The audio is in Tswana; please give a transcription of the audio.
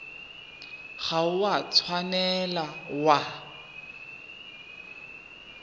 ga o a tshwanela wa